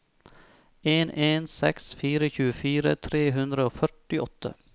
en en seks fire tjuefire tre hundre og førtiåtte